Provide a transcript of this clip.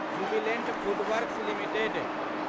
Jubilant Foodworks limited